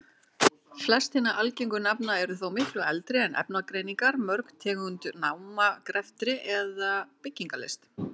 Flest hinna algengu nafna eru þó miklu eldri en efnagreiningar, mörg tengd námagreftri eða byggingarlist.